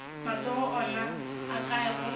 matsogo ona a kae gomme